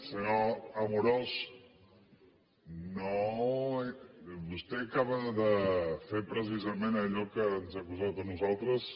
senyor amorós vostè acaba de fer precisament allò de què ens ha acusat a nosaltres